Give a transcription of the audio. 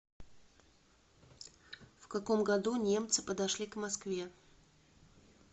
в каком году немцы подошли к москве